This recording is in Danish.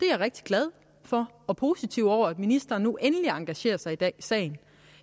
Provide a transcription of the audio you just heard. er rigtig glad for og positiv over at ministeren nu endelig engagerer sig i den sag